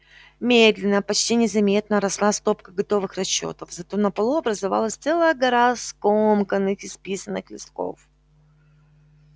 медленно почти незаметно росла стопка готовых расчётов зато на полу образовалась целая гора скомканных исписанных листков